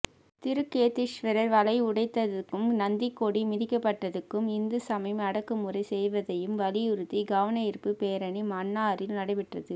திருக்கேதீஸ்வர வளைவு உடைத்ததுக்கும் நந்திக்கொடி மிதிக்கப்பட்டதுக்கும் இந்து சமயம் அடக்கு முறை செய்வதையும் வலியுறித்தி கவனயீர்ப்பு பேரணி மன்னாரில் நடைபெற்றுது